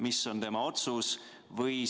Mis on tema otsus?